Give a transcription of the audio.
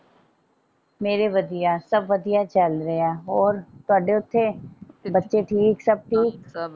ਮੇਰੇ ਵਧੀਆ ਸਬ ਵਧੀਆ ਚਲ ਰਿਹਾ ਹੋਰ ਤੁਹਾਡੇ ਓਥੇ ਬੱਚੇ ਠੀਕ ਸਬ ਠੀਕ।